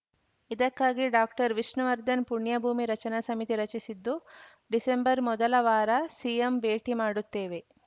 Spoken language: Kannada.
ಇದಕ್ಕಾಗಿ ಡಾಕ್ಟರ್ ವಿಷ್ಣುವರ್ಧನ್‌ ಪುಣ್ಯಭೂಮಿ ರಚನಾ ಸಮಿತಿ ರಚಿಸಿದ್ದು ಡಿಸೆಂಬರ್‌ ಮೊದಲ ವಾರ ಸಿಎಂ ಭೇಟಿ ಮಾಡುತ್ತೇವೆ